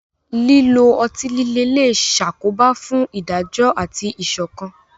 Lílo ọtí líle lè ṣàkóbá fún ìdájọ́ àti ìṣọ̀kan.